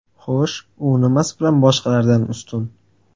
Xo‘sh, u nimasi bilan boshqalardan ustun?